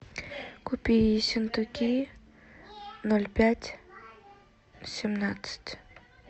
купи ессентуки ноль пять семнадцать